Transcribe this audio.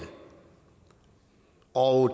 og